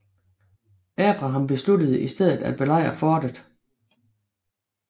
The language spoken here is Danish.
Abraham besluttede i stedet at belejre fortet